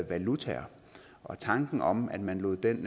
valutaer og tanken om at man lod den